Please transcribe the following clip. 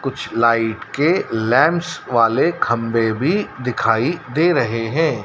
कुछ लाइट के लेंस वाले खंभे भी दिखाई दे रहे हैं।